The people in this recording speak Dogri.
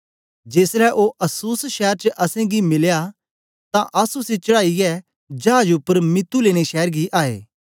जेसलै ओ अस्सुस शैर च असेंगी मिलया तां अस उसी चढ़ाईयै चाज उपर मितुलेने शैर गी आए